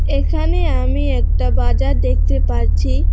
এখানে আমি একটা বাজার দেখতে পাচ্ছি।